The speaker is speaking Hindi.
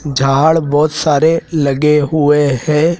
झाड़ बहोत सारे लगे हुए हैं।